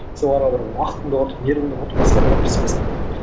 сен оларға бір уақытыңды құртып нервыңды құртып тырыспайсың